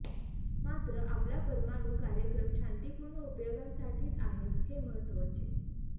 मात्र आपला परमाणू कार्यक्रम शांतीपूर्ण उपयोगांसाठीच आहे हे महत्वाचे